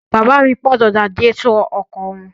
Bàbá mi pàrọ̀ radiátọ̀ ọkọ̀ wọn.